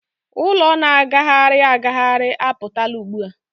ụlọ na-agagharị agagharị a pụtala ugbua.